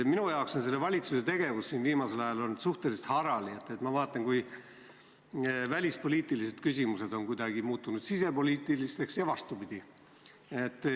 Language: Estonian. Minu arvates on meie valitsuse tegevus viimasel ajal olnud suhteliselt harali: välispoliitilised küsimused on kuidagi muutunud sisepoliitilisteks ja vastupidi.